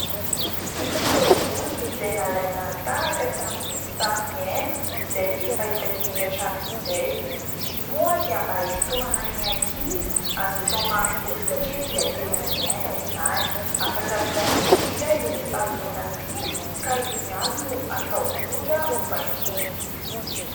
Misy ireo boky izay nalaina tahaka tamin'ny sary miana izay efa hitantsika hatramin'izay. Izy io moa dia mba hisintomana ny ankizy hazoto hamaky boky satria dia tena ilaina izany. Afaka misafidy izy izay sary miaina tiany ka iny ihany no atao boky ho vakiany.